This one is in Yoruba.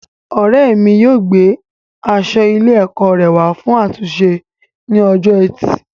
Ọrẹ mi yóò gbé aṣọ ilé ẹkọ rẹ wa fún àtúnṣe ní ọjọ́ ẹtì